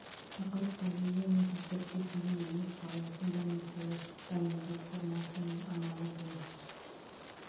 тақырып табиғи негіздерде терең емес салу фундаменттері дайындау формасы мен амалы бойынша